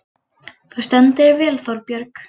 Þú stendur þig vel, Þórbjörg!